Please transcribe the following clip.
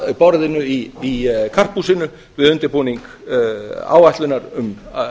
að borðinu í karphúsinu við undirbúning áætlunar um